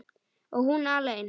Og hún alein.